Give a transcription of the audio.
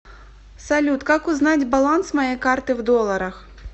салют как узнать баланс моей карты в долларах